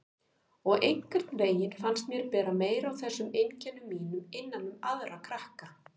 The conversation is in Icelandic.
Og einhvern veginn fannst mér bera meira á þessum einkennum mínum innan um aðra krakka.